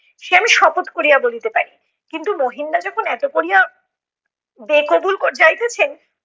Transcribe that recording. সে আমি শপথ করিয়া বলিতে পারি। কিন্তু মহিন দা যখন এতো করিয়া বে-কবুল যাইতেছেন